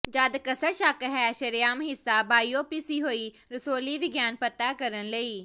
ਜਦ ਕਸਰ ਸ਼ੱਕ ਹੈ ਸ਼ਰੇਆਮ ਹਿੱਸਾ ਬਾਇਓਪਸੀ ਹੋਈ ਰਸੌਲੀ ਵਿਗਿਆਨ ਪਤਾ ਕਰਨ ਲਈ